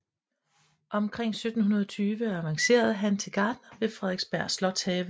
Omkring 1720 avancerede han til gartner ved Frederiksberg Slotshave